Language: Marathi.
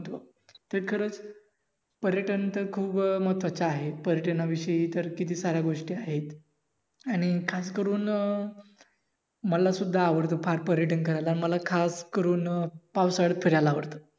ते खरच पर्यटन तर खूप महत्वाचं आहे. पर्यटनाविषयी तर किती साऱ्या गोष्टी आहेत. आणि खास करून मला सुद्धा आवडत फार पर्यटन करायला आवडत मला अं खास करून पावसाळ्यात फिरायला आवडत.